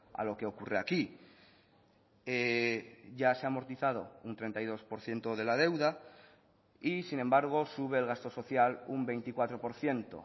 a lo que ocurre aquí ya se ha amortizado un treinta y dos por ciento de la deuda y sin embargo sube el gasto social un veinticuatro por ciento